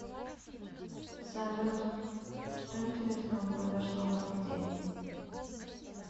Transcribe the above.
салют что интересного произошло в этот день